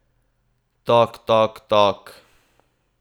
Tok tok tok.